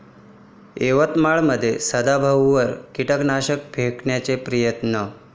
यवतमाळमध्ये सदाभाऊंवर कीटकनाशक फेकण्याचा प्रयत्न